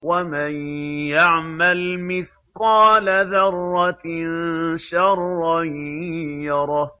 وَمَن يَعْمَلْ مِثْقَالَ ذَرَّةٍ شَرًّا يَرَهُ